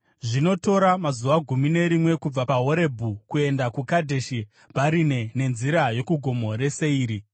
(Zvinotora mazuva gumi nerimwe kubva paHorebhi kuenda kuKadheshi Bharinea nenzira yokuGomo reSeiri.)